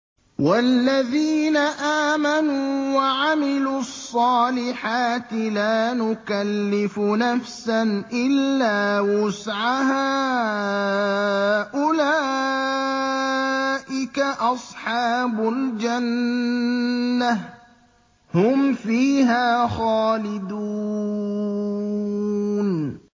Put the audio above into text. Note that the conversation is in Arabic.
وَالَّذِينَ آمَنُوا وَعَمِلُوا الصَّالِحَاتِ لَا نُكَلِّفُ نَفْسًا إِلَّا وُسْعَهَا أُولَٰئِكَ أَصْحَابُ الْجَنَّةِ ۖ هُمْ فِيهَا خَالِدُونَ